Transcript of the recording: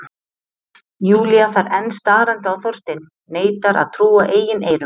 Júlía þar enn starandi á Þorstein, neitar að trúa eigin eyrum.